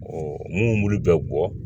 munnu bɛ bɔ